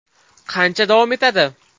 Qancha davom etadi?